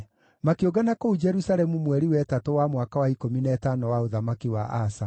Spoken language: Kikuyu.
Makĩũngana kũu Jerusalemu mweri wa ĩtatũ wa mwaka wa ikũmi na ĩtano wa ũthamaki wa Asa.